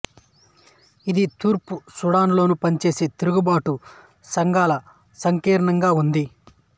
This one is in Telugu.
ఇది తూర్పు సూడానులో పనిచేసే తిరుగుబాటు సంఘాల సంకీర్ణంగా ఉంది